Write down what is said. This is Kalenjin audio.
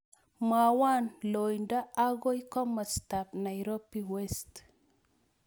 Mwawon loindo agoi komostap Nairobi west